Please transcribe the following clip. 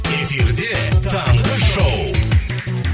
эфирде таңғы шоу